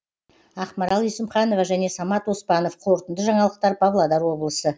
ақмарал есімханова және самат оспанов қорытынды жаңалықтар павлодар облысы